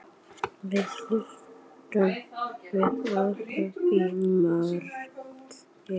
Við heilsuðumst í myrkri og kvöddumst í myrkri.